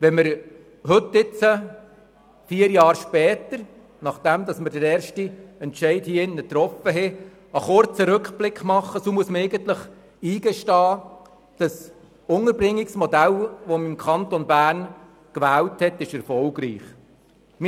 Wenn wir heute, vier Jahre nachdem wir den ersten Entscheid getroffen hatten, einen kurzen Rückblick machen, so muss man eigentlich eingestehen, dass das im Kanton Bern gewählte Unterbringungsmodell erfolgreich ist.